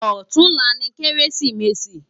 Òtúnlá ni Kérésimési